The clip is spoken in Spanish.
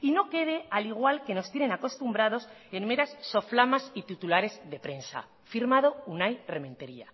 y no quede al igual que nos tienen acostumbrados en meras soflamas y titulares de prensa firmado unai rementeria